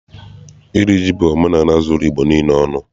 Iri ji bụ omenaala zuru Igbo niile ọnụ.